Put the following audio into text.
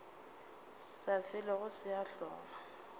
sa felego se a hlola